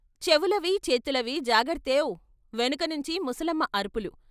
"చెవులవీ చేతులవీ జాగర్తేవ్" వెనక నుంచి ముసలమ్మ అరుపులు....